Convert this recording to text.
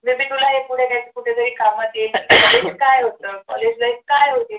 असं तुला हे पुढे काहीतरी कुठेतरी कामात येईल college काय होतं college life काय होती